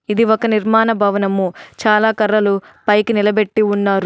ఇది ఒక నిర్మాణ భవనము చాలా కర్రలు పైకి నిలబెట్టి ఉన్నారు.